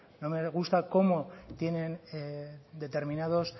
no me gusta cómo tienen determinados